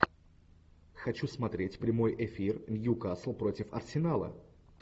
хочу смотреть прямой эфир ньюкасл против арсенала